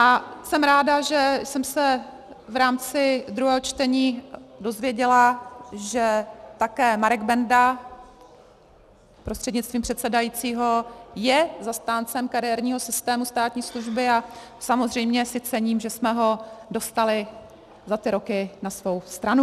A jsem ráda, že jsem se v rámci druhého čtení dozvěděla, že také Marek Benda prostřednictvím předsedajícího je zastáncem kariérního systému státní služby, a samozřejmě si cením, že jsme ho dostali za ty roky na svou stranu.